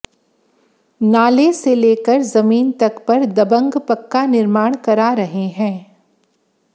नाले से लेकर जमीन तक पर दबंग पक्का निर्माण करा रहे हंै